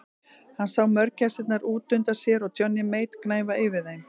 Hann sá mörgæsirnar út undan sér og Johnny Mate gnæfa yfir þeim.